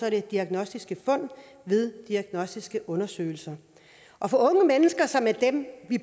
at det er diagnostiske fund ved diagnostiske undersøgelser og for unge mennesker som er dem